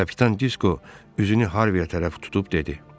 Kapitan Disko üzünü Harviyə tərəf tutub dedi: